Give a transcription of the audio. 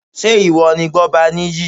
Ṣé ìwọ ni Gbọ́baníyì?